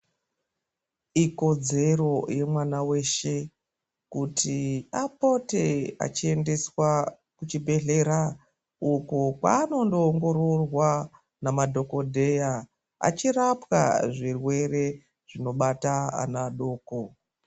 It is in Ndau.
Ikodzero yemwana weshe kuti apote achiendeswa kuchibhedhlera uko kwandonoongororwa nemadhokodheya achirapwa zvirwere zvinobata ana adoko.